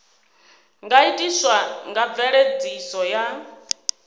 nga itiswa nga mveledziso ya